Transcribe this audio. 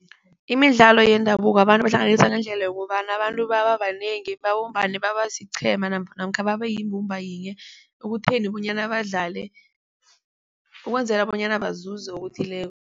Imidlalo yendabuko abantu ibahlanganisa ngendlela yokobana abantu babanengi babumbane babasiqhema namkha babeyimbumba yinye ekutheni bonyana badlale ukwenzela bonyana bazuze okuthileko.